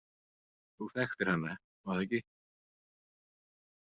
Þú þekktir hana, var það ekki?